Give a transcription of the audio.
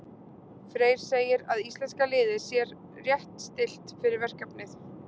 Freyr segir að íslenska liðið sér rétt stillt fyrir verkefnið.